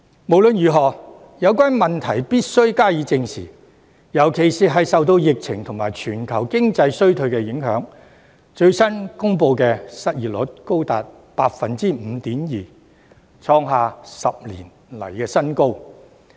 無論如何，有關問題必須正視，特別是鑒於受到疫情及全球經濟衰退的影響，最新公布的失業率現已高達 5.2%， 創下10年新高。